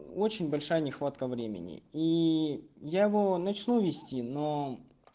очень большая нехватка времени и я его начну вести но